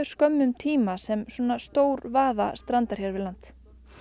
skömmum tíma sem svona stór vaða strandar hér við land